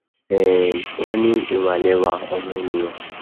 um wọn ní ìwà lẹwà ọmọ ènìà